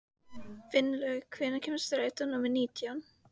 Finnlaugur, hvenær kemur strætó númer nítján?